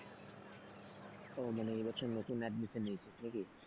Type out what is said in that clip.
ওহ মানে এই বছর নতুন admission নিয়েছিস নাকি?